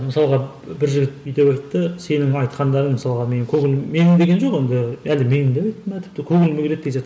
мысалға бір жігіт бүй деп айтты сенің айтқандарың мысалға менің көңілім менің деген жоқ енді әлде менің деп айтты ма тіпті көңіліме келеді